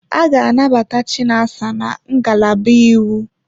A ga-anabata Chinasa na ngalaba iwu.